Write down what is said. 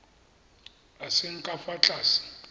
a seng ka fa tlase